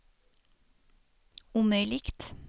omöjligt